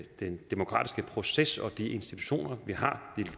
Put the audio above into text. den demokratiske proces og de institutioner vi har og